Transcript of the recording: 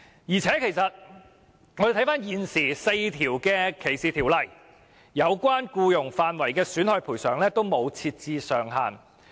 再者 ，4 項現行的歧視條例均沒有就僱傭事宜的損害賠償設定上限。